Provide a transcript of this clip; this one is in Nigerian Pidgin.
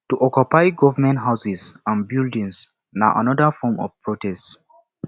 to occupy government houses and buildings na another form of protest